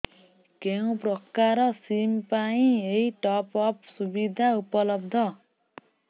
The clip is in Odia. କେଉଁ ପ୍ରକାର ସିମ୍ ପାଇଁ ଏଇ ଟପ୍ଅପ୍ ସୁବିଧା ଉପଲବ୍ଧ